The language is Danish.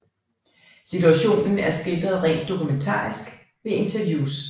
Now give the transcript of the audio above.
Situationen er skildret rent dokumentarisk ved interviews